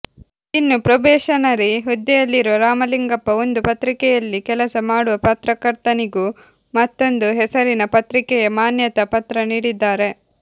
ಇನ್ನೂ ಪ್ರೊಬೆಷನರಿ ಹುದ್ದೆಯಲ್ಲಿರುವ ರಾಮಲಿಂಗಪ್ಪ ಒಂದು ಪತ್ರಿಕೆಯಲ್ಲಿ ಕೆಲಸ ಮಾಡುವ ಪತ್ರಕರ್ತನಿಗೂ ಮತ್ತೊಂದು ಹೆಸರಿನ ಪತ್ರಿಕೆಯ ಮಾನ್ಯತಾ ಪತ್ರ ನೀಡಿದ್ದಾರೆ